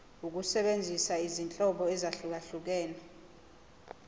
ukusebenzisa izinhlobo ezahlukehlukene